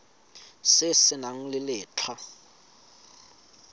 se se nang le letlha